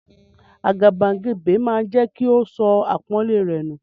Àgàbàgebè máa jẹ́ kí o sọ àpọ́nlé rẹ nù.